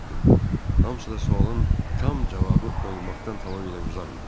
Hamısı da sualın tam cavabı olmaqdan tamamilə uzaq idi.